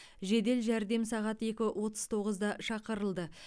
жедел жәрдем сағат екі отыз тоғызда шақырылды